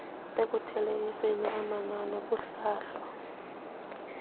ekuthelekiseni amanani kuhlahlo